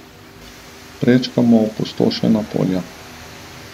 Prečkamo opustošena polja.